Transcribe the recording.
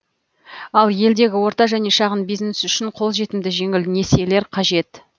ал елдегі орта және шағын бизнес үшін қолжетімді жеңіл несиелер қажет